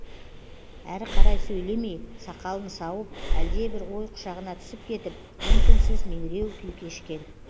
әрі қарай сөйлемей сақалын сауып әлдебір ой құшағына түсіп кетіп үн түнсіз меңіреу күй кешкен